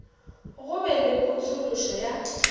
go be le potšološo ya